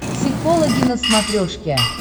психологи на смотрешке